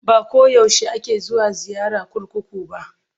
Ba ko yaushe ake zuwa ziyara kurkuku ba.